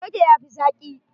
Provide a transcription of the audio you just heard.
Coke ya fi zaki.